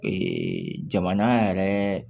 jamana yɛrɛ